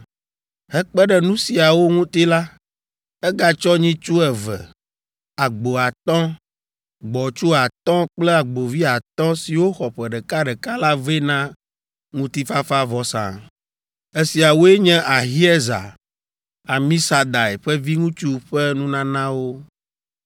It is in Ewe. Hekpe ɖe nu siawo ŋuti la, egatsɔ nyitsu eve, agbo atɔ̃, gbɔ̃tsu atɔ̃ kple agbovi atɔ̃ siwo xɔ ƒe ɖeka ɖeka la vɛ na ŋutifafavɔsa. Esiawoe nye Ahiezer, Amisadai ƒe viŋutsu ƒe nunanawo.